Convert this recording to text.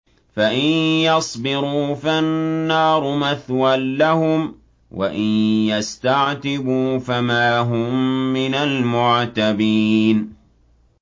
فَإِن يَصْبِرُوا فَالنَّارُ مَثْوًى لَّهُمْ ۖ وَإِن يَسْتَعْتِبُوا فَمَا هُم مِّنَ الْمُعْتَبِينَ